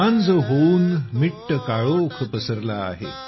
सांज होऊन मिट्ट काळोख पसरला आहे